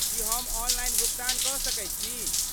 की हम ऑनलाइन भुगतान कऽ सकैत छी?